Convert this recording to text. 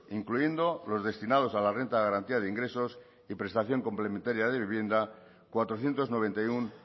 incluyendo los destinados a la renta de garantía de ingresos y prestación complementaria de vivienda cuatrocientos noventa y uno